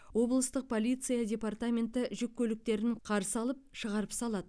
облыстық полиция департаменті жүк көліктерін қарсы алып шығарып салады